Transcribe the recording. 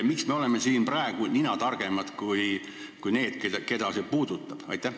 Miks me oleme siin praegu ninatargemad kui need, keda see puudutab?